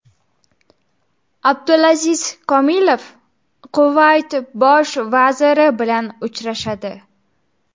Abdulaziz Komilov Kuvayt bosh vaziri bilan uchrashadi.